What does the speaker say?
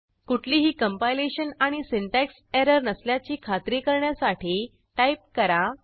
कुठलीही कंपायलेशन आणि syntax error नसल्याची खात्री करण्यासाठी टाईप करा